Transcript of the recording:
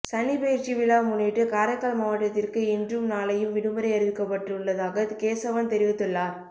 சனி பெயர்ச்சி விழா முன்னிட்டு காரைக்கால் மாவட்டத்திற்கு இன்றும் நாளையும் விடுமுறை அறிவிக்கப்பட்டுள்ளதாக கேசவன் தெரிவித்துள்ளார்